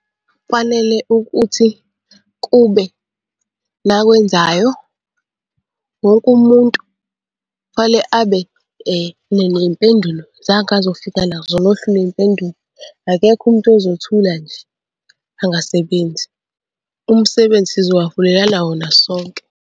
Kufanele ukuthi kube nakwenzayo, wonke umuntu fanele abe ney'mpendulo zakhe azofika nazo nohlu lwey'mpendulo. Akekho umuntu ozothula nje angasebenzi. Umsebenzi sizobaholela wona sonke.